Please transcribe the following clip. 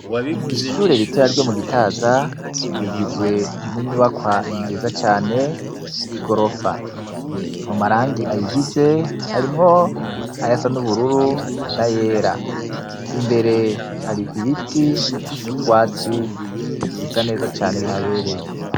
Ishure ritoya ryo mugitaza ,rigizwe n'inyubakwa nziza cane ry'igorofa, mumarangi ayigize harimwo ayasa n'ubururu, n'ayera ,imbere hari ibiti n'utwatsi bisa neza cane bihabereye.